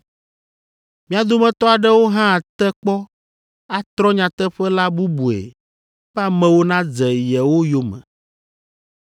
Mia dometɔ aɖewo hã ate kpɔ atrɔ nyateƒe la bubue be amewo nadze yewo yome.